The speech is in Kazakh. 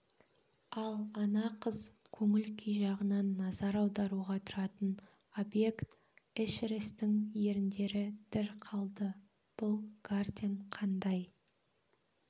ал ана қыз көңіл-күй жағынан назар аударуға тұратын объект эшерестің еріндері дір қалды бұл гартен қандай